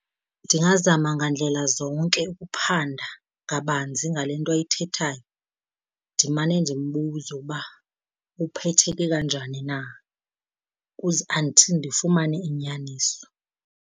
Ndingazama ngandlela zonke ukuphanda kabanzi ngale nto ayithethayo, ndimane ndimbuzea uba uphetheke kanjani na until ndifumane inyaniso.